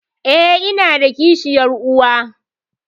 Eh, inada kishiyar uwa?